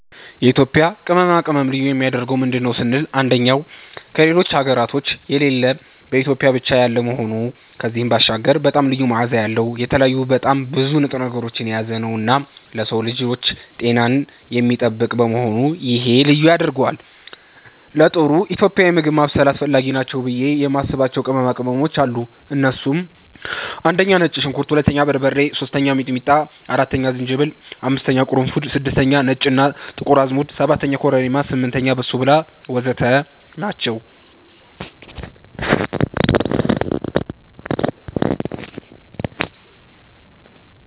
የኢትዮጵያ ቅመማ ቅመም ልዩ የሚያደርገው ምንድን ነው ስንል አንደኛ ከሌሎች ሀገራቶች የሌለ በኢትዮጵያ ብቻ ያለ መሆኑ ከዚህም ባሻገር በጣም ልዩ መዓዛ ያለዉ፣ የተለያዩ በጣም ብዙ ንጥረ ነገሮችን የያዘነዉና ለሰዉ ልጆች ጤናን የሚጠብቅ በመሆኑ ይሄ ልዩ ያደርገዋል። ለጥሩ ኢትዮጵያዊ ምግብ ማብሰል አስፈላጊ ናቸው ብዬ የማስባቸዉ ቅመሞች አሉ እነሱም፦ 1)ነጭ ሽንኩርት 2)በርበሬ 3)ሚጥሚጣ 4)ዝንጅብል 5)ቅርንፉድ 6)ነጭ እና ጥቁር አዝሙድ 7)ኮረሪማ 8)በሶብላ ወዘተ ናቸዉ።